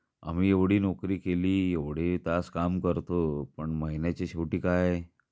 आम्ही एवढी नोकरी केली एवढे, तास काम करतो पण महिन्याच्या शेवटी काय?